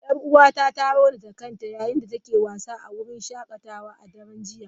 Yar'uwata ta raunata kanta yayin da take wasa a wurin shakatawa a daren jiya.